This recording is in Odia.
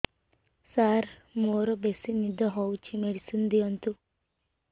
ସାର ମୋରୋ ବେସି ନିଦ ହଉଚି ମେଡିସିନ ଦିଅନ୍ତୁ